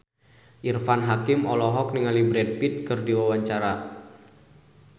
Irfan Hakim olohok ningali Brad Pitt keur diwawancara